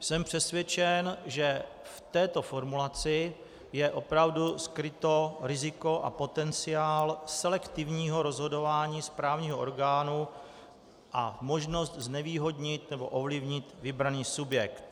Jsem přesvědčen, že v této formulaci je opravdu skryto riziko a potenciál selektivního rozhodování správního orgánu a možnost znevýhodnit nebo ovlivnit vybraný subjekt.